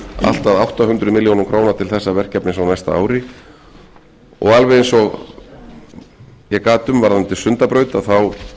allt að átta hundruð milljóna króna til þessa verkefnis á næsta ári og alveg eins og ég gat um varðandi sundabraut þá